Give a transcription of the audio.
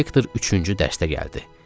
İnspektor üçüncü dərsdə gəldi.